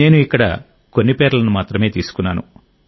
నేను ఇక్కడ కొన్ని పేర్లను మాత్రమే తీసుకున్నాను